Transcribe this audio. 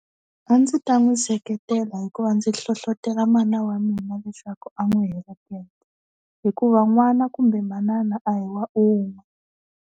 A ndzi ta n'wi seketela hikuva ndzi hlohlotelo mana wa mina leswaku a n'wi heleketa hikuva n'wana kumbe manana a hi wa un'we.